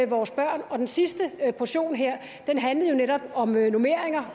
vores børn og den sidste portion her handlede jo netop om normeringer